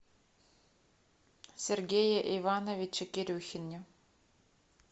сергее ивановиче кирюхине